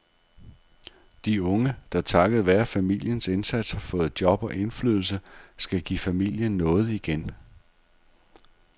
De unge, der takket være familiens indsats har fået job og indflydelse, skal give familien noget igen.